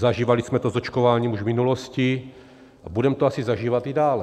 Zažívali jsme to s očkováním už v minulosti a budeme to asi zažívat i dále.